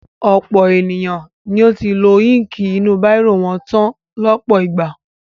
Ọ̀pọ̀ ènìyàn ni ó ti lo íńkì inú bírò wọn tán lọ́pọ̀ ìgbà.